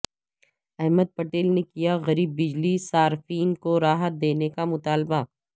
احمد پٹیل نے کیا غریب بجلی صارفین کو راحت دینے کا مطالبہ